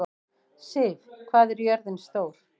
Siv, hvað er jörðin stór?